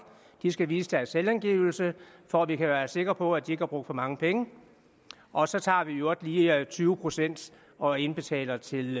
skal vise deres selvangivelse for at vi kan være sikre på at de ikke har brugt for mange penge og så tager vi i øvrigt lige tyve procent og indbetaler til